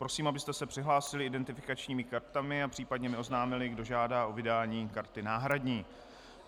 Prosím, abyste se přihlásili identifikačními kartami a případně mi oznámili, kdo žádá o vydání karty náhradní.